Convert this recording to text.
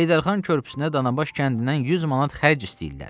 Heydər Xan körpüsünə Danabaş kəndindən 100 manat xərc istəyirlər.